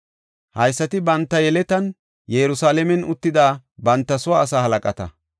Haysati banta yeletan Yerusalaamen uttida banta soo asaa halaqata.